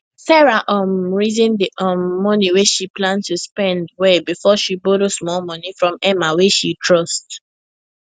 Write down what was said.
sarah um reason the um money wey she plan to spend well before she borrow small money from emma wey she trust